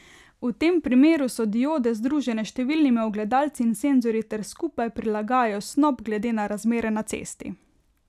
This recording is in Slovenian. V tem primeru so diode združene s številnimi ogledalci in senzorji ter skupaj prilagajajo snop glede na razmere na cesti.